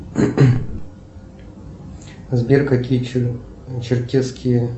сбер какие черкесские